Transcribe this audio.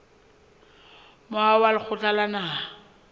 moaho wa lekgotla la naha